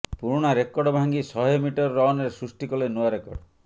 ପୂରୁଣା record ଭାଙ୍ଗି ଶହେ metre ରନରେ ସୃଷ୍ଟି କଲେ ନୂଆ ରେକର୍ଡ